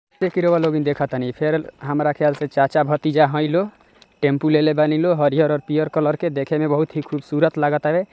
एकरो लोगिन देखा तानी फेर हमरा ख्याल से चाचा भतीजा हयलो टेम्पू ले-ले बानी लो हरियर और पियर कलर के देखे में बहुत ही खूबसूरत लागे तारे।